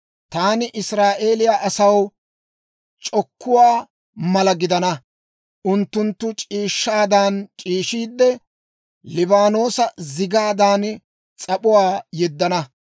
Taani Israa'eeliyaa asaw c'okkuwaa mala gidana; unttunttu c'iishshaadan c'iishiide, Liibaanoosa zigaadan, s'ap'uwaa yeddana.